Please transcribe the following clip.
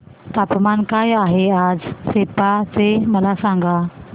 तापमान काय आहे आज सेप्पा चे मला सांगा